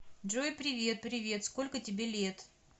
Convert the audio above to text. джой привет привет сколько тебе лет